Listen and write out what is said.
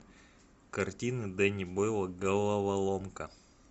картина дэнни бойла головоломка